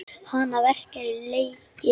Hana verkjar í legið.